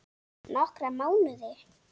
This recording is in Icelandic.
Nokkra mánuði?